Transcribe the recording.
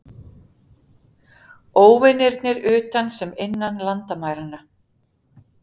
Óvinirnir utan sem innan landamæranna.